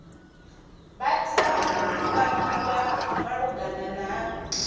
vha tea u kwamiwa malugana